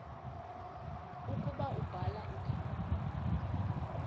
ukuba ubhala igama